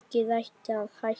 Gengið ætti að hækka.